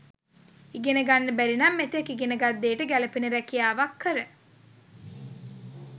ඉගෙන ගන්න බැරිනම් මෙතෙක් ඉගෙනගත් දේට ගැලපෙන රැකියාවක් කර